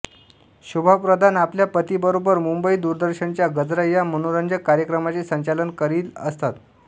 शोभा प्रधान आपल्या पतीबरोबर मुंबई दूरदर्शनच्या गजरा या मनोरंजक कार्यक्रमाचे संचालन करील असत